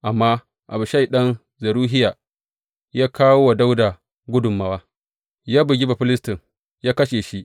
Amma Abishai ɗan Zeruhiya ya kawo wa Dawuda gudummawa; ya bugi Bafilistin, ya kashe shi.